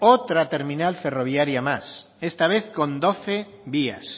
otra terminal ferroviaria más esta vez con doce vías